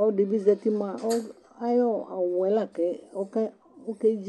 ɔlɔdi bi zati ku ayɔ awu yɛ la ke